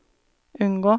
unngå